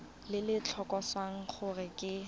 le le tlhalosang gore ke